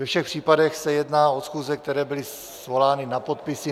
Ve všech případech se jedná o schůze, které byly svolány na podpisy.